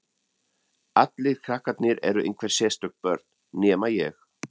Allir krakkarnir eru einhver sérstök börn, nema ég.